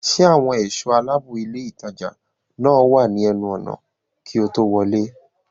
Ṣé àwọn ẹ̀ṣọ́ aláàbòilé ìtajà náà wà ní ẹnu ọ̀nà kí o tó wọlé